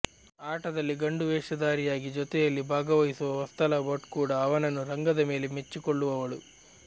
ಆಟದಲ್ಲಿ ಗಂಡು ವೇಷಧಾರಿಯಾಗಿ ಜೊತೆಯಲ್ಲಿ ಭಾಗವಹಿಸುವ ವತ್ಸಲಾ ಭಟ್ ಕೂಡ ಅವನನ್ನು ರಂಗದ ಮೇಲೆ ಮೆಚ್ಚಿಕೊಳ್ಳುವವಳು